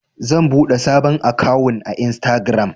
zan buɗe sabon akawun a instagiram